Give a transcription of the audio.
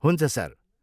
हुन्छ, सर!